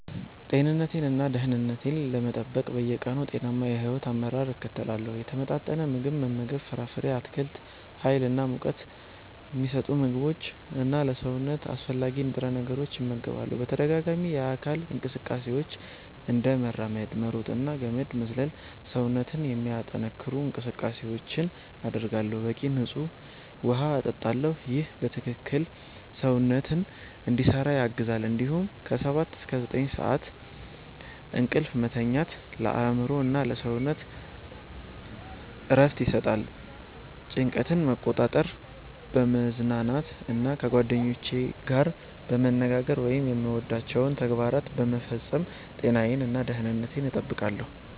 ጤንነቴን እና ደህንነቴን ለመጠበቅ በየቀኑ ጤናማ የሕይወት አመራር እከተላለሁ። የተመጣጠነ ምግብ መመገብ ፍራፍሬ፣ አትክልት፣ ሀይል እና ሙቀት ሚሰጡ ምግቦች እና ለሰውነት አስፈላጊ ንጥረ ነገሮችን እመገባለሁ። በተደጋጋሚ የአካል እንቅስቃሴዎች፤ እንደ መራመድ፣ መሮጥ እና ገመድ መዝለል ሰውነትን የሚያጠነክሩ እንቅስቃሴዎችን አደርጋለሁ። በቂ ንፁህ ውሃ እጠጣለሁ ይህ በትክክል ሰውነትን እንዲሰራ ያግዛል እንዲሁም ከ 7–9 ሰዓት እንቅልፍ መተኛት ለአእምሮ እና ለሰውነት እረፍት ይሰጣል። ጭንቀትን መቆጣጠር፣ በመዝናናት እና ከጓደኞቼ ጋር በመነጋገር ወይም የምወዳቸውን ተግባራት በመፈጸም ጤናዬን እና ደህንነቴን እጠብቃለሁ።